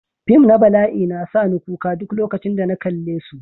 Fim na bala'i na sa ni kuka duk lokacin da na kalle su.